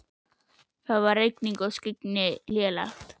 Það var rigning og skyggni lélegt.